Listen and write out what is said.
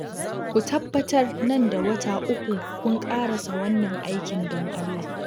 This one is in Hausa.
Ku tabbatar nan da wata uku kun ƙarasa wannan aikin don Allah